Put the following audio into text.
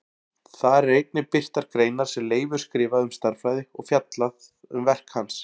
Þar eru einnig birtar greinar sem Leifur skrifaði um stærðfræði og fjallað um verk hans.